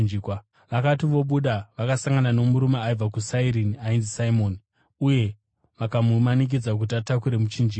Vakati vobuda, vakasangana nomurume aibva kuSairini ainzi Simoni, uye vakamumanikidza kuti atakure muchinjikwa.